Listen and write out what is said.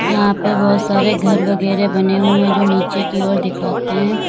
यहाँ पे बहुत सारे घर वगैरह बने हुए हैं जो नीचे की ओर दिखाते हैं।